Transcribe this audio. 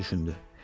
Qoca düşündü.